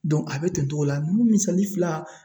a bɛ ten cogo la ni misali fila